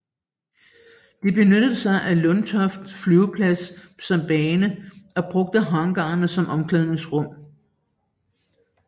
De benyttede sig af Lundtofte Flyveplads som bane og brugte hangarerne som omklædningsrum